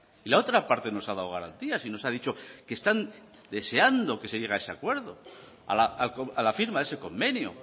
y la otra parte nos ha dado garantías y nos ha dicho que están deseando que se llegue a ese acuerdo a la firma de ese convenio